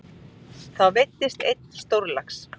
Þá veiddist einn stórlax.